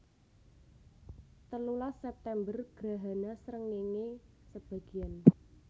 Telulas September Grahana srengéngé sebagéan